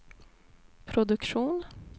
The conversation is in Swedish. produktion